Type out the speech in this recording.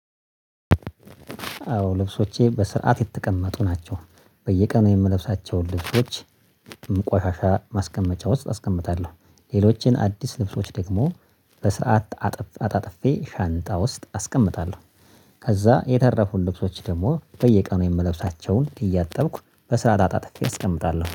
አዎ ልብሶቼ በስርዓት የተቀመጡ ናቸው በየቀኑ የምለብሳቸውን ልብሶች። ቆሻሻ ማስቀመጫ ውስጥ አስቀምጣለሁ ሌሎችን አዲስ ልብሶች ደግሞ በሰርዓት አጣጥፌ ሻንጣ ውስጥ አስቀምጣለሁ። ከዛ የተረፉን ልብሶች ደግሞ በየቀኑ የምለብሳቸውን እያጠብኩ በስርዓት አጣጥፌ አስቀምጣለሁ